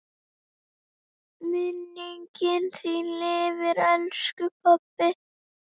Minning þín lifir, elsku pabbi.